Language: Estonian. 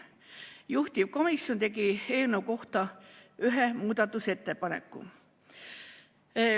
Juhtivkomisjon tegi eelnõu kohta ühe muudatusettepaneku.